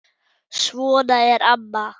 Svona er amma.